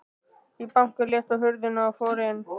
Ég bankaði létt á hurðina og fór inn.